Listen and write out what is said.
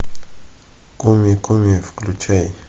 куми куми включай